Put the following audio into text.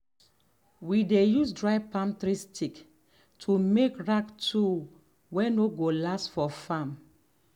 we dey use dry palm tree stick to make rake tool way no go last for farm.